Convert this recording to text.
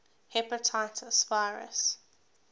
hepatitis virus